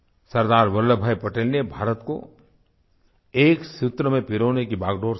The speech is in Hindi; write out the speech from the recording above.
सरदार वल्लभ भाई पटेल ने भारत को एक सूत्र में पिरोने की बागडोर संभाली